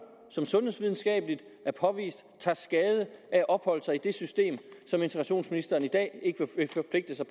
som sundhedsvidenskaben har påvist tager skade af at opholde sig i det system som integrationsministeren i dag ikke vil forpligte sig